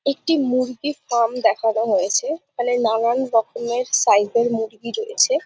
একটি মুরগির ফার্ম দেখানো হয়েছে। এখানে নানান রকমের সাইজ -এর মুরগি রয়েছে ।